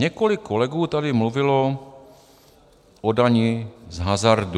Několik kolegů tady mluvilo o dani z hazardu.